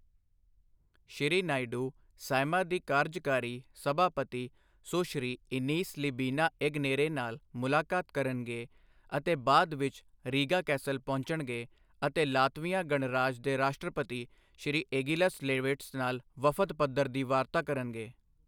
ਸ਼੍ਰੀ Naidu, Saeima ਦੀ ਕਾਰਜਕਾਰੀ ਸਭਾਪਤੀ ਸੁਸ਼੍ਰੀ ਇਨੀਸ ਲੀਬੀਨਾ ਏਗਨੇਰੇ ਨਾਲ ਮੁਲਾਕਾਤ ਕਰਨਗੇ ਅਤੇ ਬਾਅਦ ਵਿੱਚ ਰੀਗਾ ਕੈਸਲ ਪਹੁੰਚਣਗੇ ਅਤੇ ਲਾਤਵੀਆ ਗਣਰਾਜ ਦੇ ਰਾਸ਼ਟਰਪਤੀ ਸ਼੍ਰੀ ਏਗਿਲਸ ਲੇਵਿਟ੍ਸ ਨਾਲ ਵਫ਼ਦ ਪੱਧਰ ਦੀ ਵਾਰਤਾ ਕਰਨਗੇ।